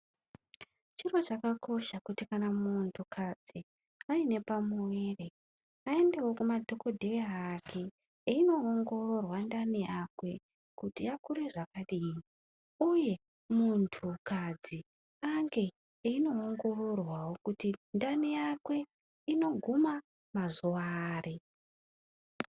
Chiro chakakosha kuti kana muntukadzi aine pamuviri, aendevo kumadhokodheyaa ake einoongororwa ndani yakwe kuti yakure zvakadii, uyee muntukadzi ange ainoongororwavo kuti ndani yake inoguma mazuva ari.